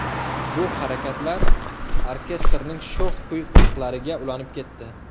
Bu harakatlar orkestrning sho‘x kuy-qo‘shiqlariga ulanib ketdi.